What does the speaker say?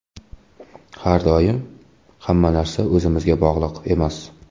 Har doim hamma narsa o‘zimizga bog‘liq emas.